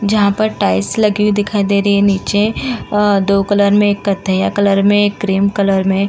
जहां पर टाइल्स लगी हुई दिखाई दे रही। नीचे दो कलर में एक कथैया कलर में एक क्रीम कलर में --